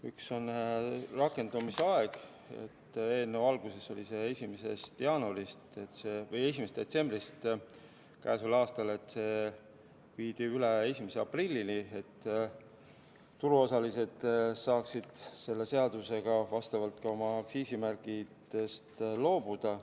Üks on rakendamise aeg: eelnõu alguses oli see 1. detsember käesoleval aastal, ent see viidi üle 1. aprillile, et turuosalised saaksid selle seadusega kooskõlas oma aktsiisimärkidest loobuda.